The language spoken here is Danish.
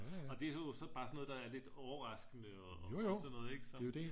Og det er jo så bare sådan noget der er lidt overraskende og sådan noget ikke så